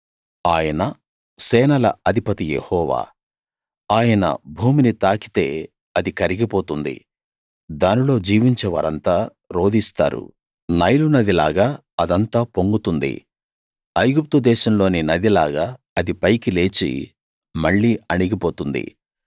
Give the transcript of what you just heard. ఆయన సేనల అధిపతి యెహోవా ఆయన భూమిని తాకితే అది కరిగి పోతుంది దానిలో జీవించే వారంతా రోదిస్తారు నైలునది లాగా అదంతా పొంగుతుంది ఐగుప్తుదేశంలోని నదిలాగా అది పైకి లేచి మళ్ళీ అణిగి పోతుంది